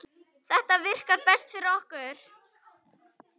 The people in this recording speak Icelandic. Þetta virkar best fyrir okkur.